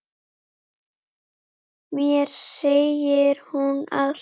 Mér segir hún allt: